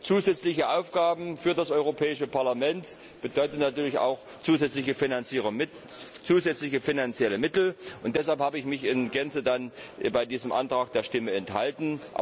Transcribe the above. Zusätzliche Aufgaben für das Europäische Parlament bedeuten natürlich auch zusätzliche Finanzierung, zusätzliche finanzielle Mittel. Deshalb habe ich mich bei diesem Antrag der Stimme enthalten.